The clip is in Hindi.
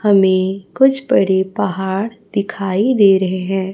हमें कुछ बड़े पहाड़ दिखाई दे रहे हैं।